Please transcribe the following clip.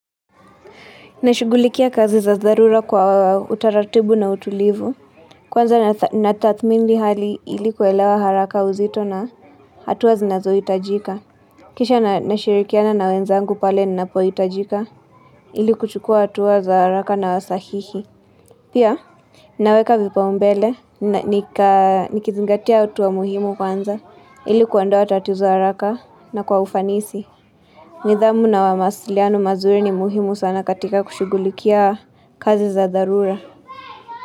Nashugulikia kazi za dharura kwa utaratibu na utulivu. Kwanza natathmini hali ilikuelewa haraka uzito na hatua zinazo hitajika. Kisha nashirikiana na wenzangu pale ninapohitajika ili kuchukua hatua za haraka na sahihi. Pia, naweka vipa umbele, nikizingatia hatua muhimu kwanza ili kuondoa tatizo haraka na kwa ufanisi. Nidhamu na wamasiliano mazuri ni muhimu sana katika kushugulikia kazi za dharura.